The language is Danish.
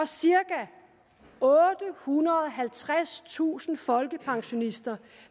cirka ottehundrede og halvtredstusind folkepensionister